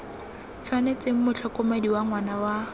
tshwanetseng motlhokomedi wa ngwana wa